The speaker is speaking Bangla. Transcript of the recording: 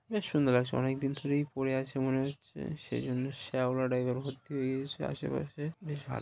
বেশ সুন্দর লাগছে অনেক দিন ধরেই পড়ে আছে মনে হচ্ছে সেজন্য শ্যাওলা টাইপ -এর ভর্তি হয়ে গেছে। আশেপাশে বেশ ভাল --